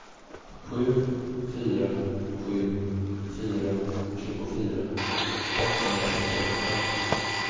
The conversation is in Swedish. sju fyra sju fyra tjugofyra åttahundrasjuttioåtta